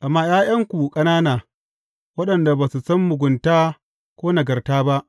Amma ’ya’yanku ƙanana waɗanda ba su san mugunta ko nagarta ba,